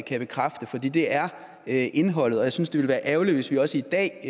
kan bekræfte for det det er er indholdet jeg synes det ville være ærgerligt hvis vi også i dag